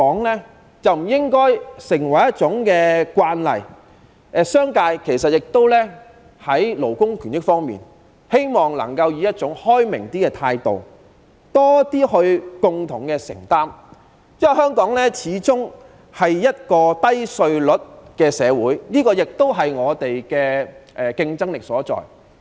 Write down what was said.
其實，我希望商界能對勞工權益方面抱持更開明的態度，多一點作出共同的承擔，因為香港始終是低稅率的社會，這亦是我們的競爭力所在。